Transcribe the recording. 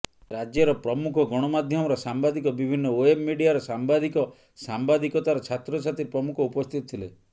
ରାଜ୍ୟର ପ୍ରମୁଖ ଗଣମାଧ୍ୟମର ସାମ୍ବାଦିକ ବିଭିନ୍ନ ଓ୍ୱେବ ମିଡିଆର ସାମ୍ବାଦିକ ସାମ୍ବାଦିକତାର ଛାତ୍ରଛାତ୍ରୀ ପ୍ରମୁଖ ଉପସ୍ଥିତ ଥିଲେ